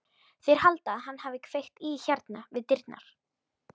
Þeir halda að hann hafi kveikt í hérna við dyrnar.